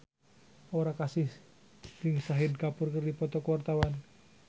Aura Kasih jeung Shahid Kapoor keur dipoto ku wartawan